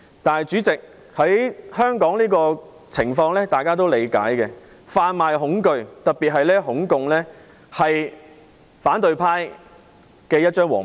但是，主席，大家也理解香港的情況，販賣恐懼、特別是"恐共"情緒是反對派的一張王牌。